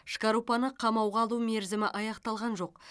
шкарупаны қамауға алу мерзімі аяқталған жоқ